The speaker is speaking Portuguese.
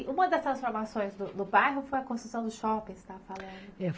E uma dessas transformações do bairro foi a construção do shopping, você está falando?